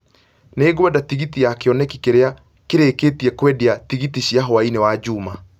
Nĩ ngwenda tigiti ya kĩoneki kĩrĩa kĩrĩkĩtie kwendia tigiti cia hwaĩinĩ wa juma